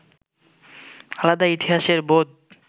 আলাদা ইতিহাসের বোধ